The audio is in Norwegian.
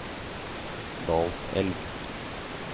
Dalselv